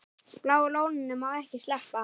Bláa lóninu má ekki sleppa.